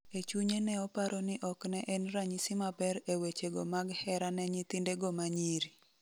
E chunye neoparo ni okne en ranyisi maber e weche go mag hera ne nyithinde go manyiri.